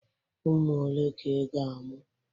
Ụmụ ole ka ị ga-amụ?